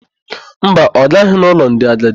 Mba, ọ gaghị n'ụlọ ndị agadi.